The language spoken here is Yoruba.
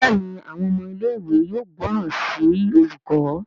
Béèni Àwọn ọmọ ilé ìwé yóò gbóròn sí olùkó.